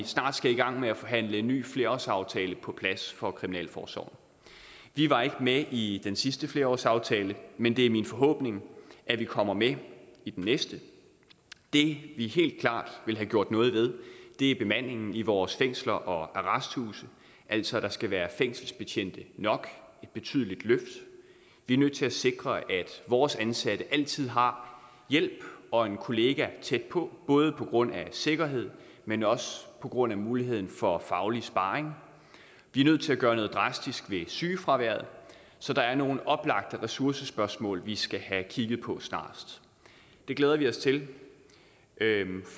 snart skal i gang med at forhandle en ny flerårsaftale på plads for kriminalforsorgen vi var ikke med i den sidste flerårsaftale men det er min forhåbning at vi kommer med i den næste det vi helt klart vil have gjort noget ved er bemandingen i vores fængsler og arresthuse altså at der skal være fængselsbetjente nok et betydeligt løft vi er nødt til at sikre at vores ansatte altid har hjælp og en kollega tæt på både på grund af sikkerhed men også på grund af muligheden for faglig sparring vi er nødt til at gøre noget drastisk ved sygefraværet så der er nogle oplagte ressourcespørgsmål vi skal have kigget på snarest det glæder vi os til